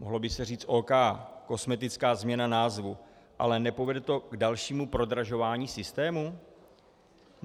Mohlo by se říct OK, kosmetická změna názvu, ale nepovede to k dalšímu prodražování systému?